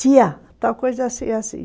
Tia, tal coisa assim, assim.